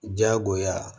Diyagoya